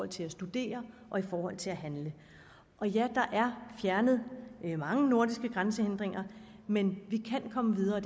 til at studere og i forhold til at handle ja der er fjernet mange nordiske grænsehindringer men vi kan komme videre og